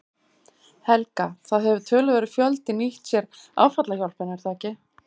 Helga: Það hefur töluverður fjöldi nýtt sér áfallahjálpina er það ekki?